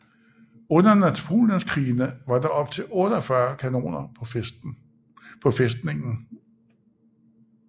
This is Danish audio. Under napoleonskrigene var der op til 48 kanoner på fæstningen